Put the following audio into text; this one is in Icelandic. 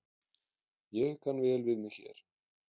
Ég kann vel við mig hér